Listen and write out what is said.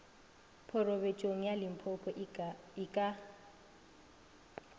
phorobentsheng ya limpopo a ke